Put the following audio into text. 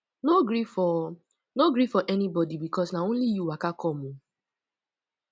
no gree for no gree for anybodi bikos na only yu waka com o